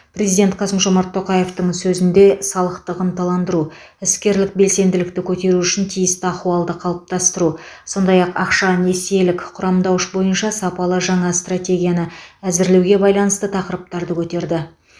президент қасым жомарт тоқаевтың сөзінде салықтығын ынталандыру іскерлік белсенділікті көтеру үшін тиісті ахуалды қалыптастыру сондай ақ ақша несиелік құрамдауыш бойынша сапалы жаңа стратегияны әзірлеуге байланысты тақырыптарды көтерді